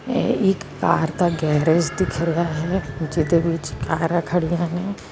ਇਹ ਇੱਕ ਕਾਰ ਦਾ ਗੈਰੇਜ ਦਿਖ ਰਿਹਾ ਹੈ ਜਿਹਦੇ ਵਿੱਚ ਕਾਰਾਂ ਖੜੀਆਂ ਨੇ।